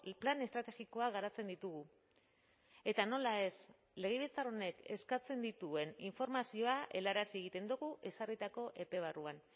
plan estrategikoa garatzen ditugu eta nola ez legebiltzar honek eskatzen dituen informazioa helarazi egiten dugu ezarritako epe barruan